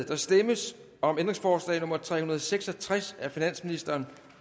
der stemmes om ændringsforslag nummer tre hundrede og seks og tres af finansministeren